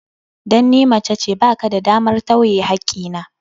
Dan ni macece, ba ka da damar tawye hakki na.